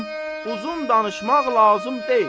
Uzun danışmaq lazım deyil.